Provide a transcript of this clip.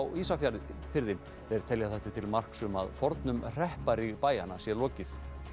Ísafjarðarbæjar þeir telja þetta til marks um að fornum hrepparíg bæjanna sé lokið